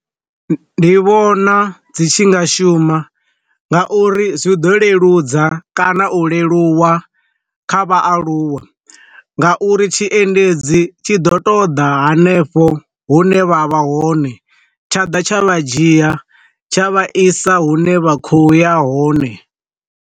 Ndi vhona dzi tshi nga shuma, nga uri zwi ḓo leludza kana u leluwa kha vhaaluwa, nga uri tshi endedzi tshi ḓo ṱoḓa hanefho hune vha vha hone tsha ḓa tsha vha dzhia tsha vha isa hune vha khou ya hone.